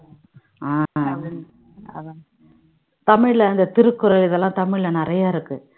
தமிழ்ல அந்த திருக்குறள் இதெல்லாம் தமிழ்ல நிறைய இருக்கு